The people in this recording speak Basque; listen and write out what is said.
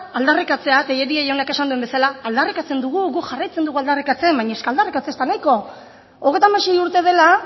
aldarrikatzea tellería jaunak esan duen bezala aldarrikatzen dugu gu jarraitzen dugu aldarrikatzen baina es que aldarrikatzea ez da nahiko hogeita hamasei urte dela